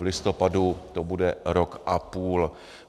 V listopadu to bude rok a půl.